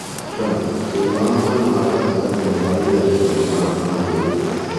Trump: Thĩĩna wa mwena wa gatagatĩ wa irathĩro nĩ wa famĩlĩ